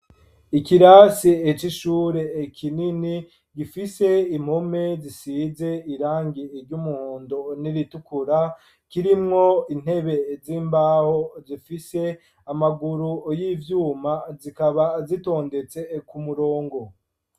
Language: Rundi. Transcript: Ikirasi c'ishure, kinini, gifise impome zisize, irangi ry'umuhondo, n'iritukura; kirimwo intebe z'imbaho, zifise amaguru y'ivyuma, zikaba zitondetse, ku murongo.